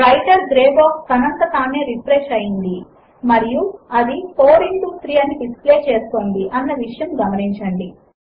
writer grey box తనంత తానె refresh అయింది అని మరియు అది 4 ఇంటో 3 అని డిస్ప్లే చేస్తోంది అన్న విషయమును గమనించండి